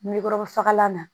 N bɛ kɔrɔbafalan na